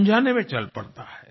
अनजाने में चल पड़ता है